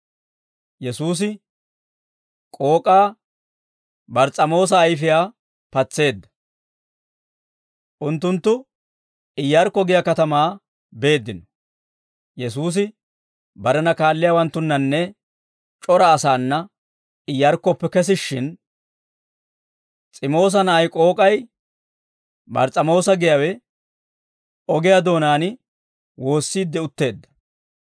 Unttunttu Iyarkko giyaa katamaa beeddino; Yesuusi barena kaalliyaawanttunnanne c'ora asaana Iyarkkoppe kesishshin, S'imoosa na'ay k'ook'ay, Bars's'amoosa giyaawe, ogiyaa doonaan woossiidde utteedda.